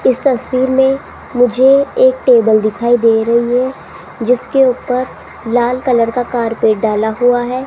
इस तस्वीर में मुझे एक टेबल दिखाई दे रही है जिसके ऊपर लाल कलर का कार्पेट डाला हुआ है।